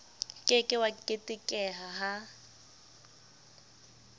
ke ke wa keketeha ha